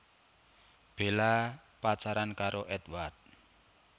Bella pacaran karo Édward